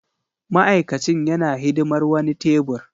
Ma'aikacin yana hidimar wani tebur.